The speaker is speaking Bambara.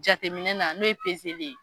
Jateminɛna n'o ye ye.